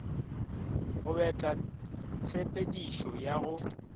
go betla tshepedišo ya go